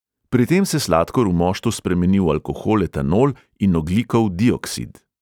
Pri tem se sladkor v moštu spremeni v alkohol etanol in ogljikov dioksid.